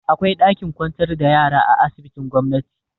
Akwai ɗakin kwantar da yara a asibitin gomnati.